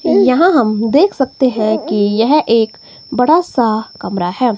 यहां हम देख सकते हैं कि यह एक बड़ा सा कमरा है।